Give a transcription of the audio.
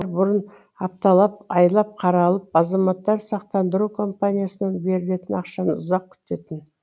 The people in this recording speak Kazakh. бұрын апталап айлап қаралып азаматтар сақтандыру компаниясынан берілетін ақшаны ұзақ күтетін